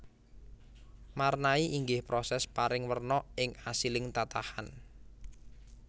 Marnai inggih proses paring werna ing asiling tatahan